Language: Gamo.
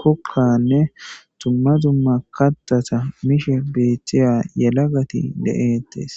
kokkanne dumma dumma katha mishe betiypa yalagatti bettetees.